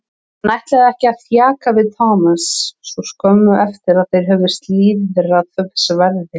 Hann ætlaði ekki að þjarka við Thomas svo skömmu eftir að þeir höfðu slíðrað sverðin.